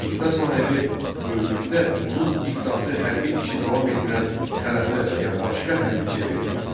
İqta sahibi öldükdə onun iqtası hərbi işi davam etdirən xələfinə və ya başqa hərbçiyə verilirdi.